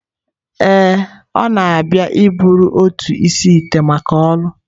Ee, ọ na-abịa iburu otu isi-ite maka ọrụ